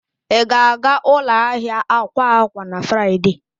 Ị ga-aga ụlọ ahịa akwa akwa na Fraịde?